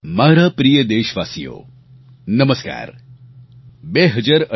મારા પ્રિય દેશવાસીઓ નમસ્કાર